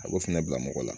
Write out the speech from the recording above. A b'o fana bila mɔgɔ la